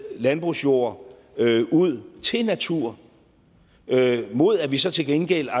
landbrugsjord ud til natur mod at vi så til gengæld